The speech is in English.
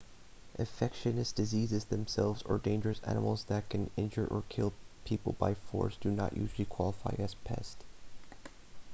infectious diseases themselves or dangerous animals that can injure or kill people by force do not usually qualify as pests